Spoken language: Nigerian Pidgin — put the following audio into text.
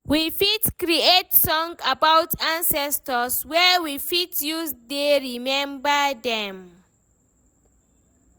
We fit create song about ancestor wey we fit use dey remember them